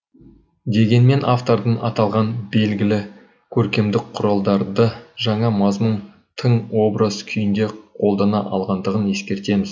дегенмен автордың аталған белгілі көркемдік құралдарды жаңа мазмұн тың образ күйінде қолдана алғандығын ескертеміз